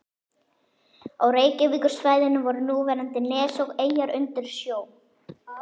Á Reykjavíkursvæðinu voru núverandi nes og eyjar undir sjó.